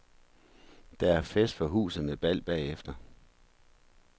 Der er fest for huset med bal bagefter.